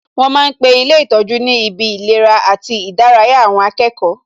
Wọn ma ń pe ilé ìtọ́jú ni ibi ìlera àti ìdárayá àwọn akẹ́kọ̀ọ́